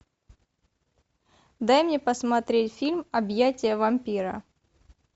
дай мне посмотреть фильм объятия вампира